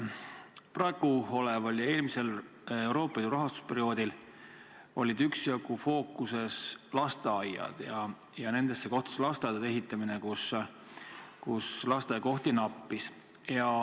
Praegusel ja eelmisel Euroopa Liidu rahastusperioodil on olnud üksjagu fookuses lasteaiad ja lasteaedade ehitamine nendesse kohtadesse, kus lasteaiakohti nappis.